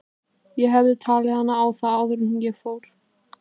Ég hefði talið hana á það áður en ég fór.